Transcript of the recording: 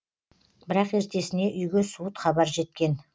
бірақ ертесіне үйге суыт хабар жеткен